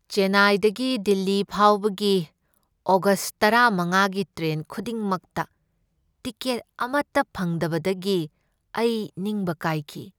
ꯆꯦꯟꯅꯥꯏꯗꯒꯤ ꯗꯤꯜꯂꯤ ꯐꯥꯎꯕꯒꯤ ꯑꯣꯒꯁꯠ ꯇꯔꯥꯃꯉꯥꯒꯤ ꯇ꯭ꯔꯦꯟ ꯈꯨꯗꯤꯡꯃꯛꯇ ꯇꯤꯀꯦꯠ ꯑꯃꯇ ꯐꯪꯗꯕꯗꯒꯤ ꯑꯩ ꯅꯤꯡꯕ ꯀꯥꯏꯈꯤ꯫